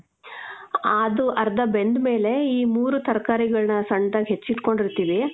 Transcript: ಆದೂ ಅರ್ಧ ಬೆಂದ್ ಮೇಲೆ, ಈ ಮೂರು ತರ್ಕಾರಿಗಳನ್ನ ಸಣ್ಣದಾಗಿ ಹೆಚ್ಚಿಟ್ಕೊಂಡ್ ಇರ್ತೀವಿ.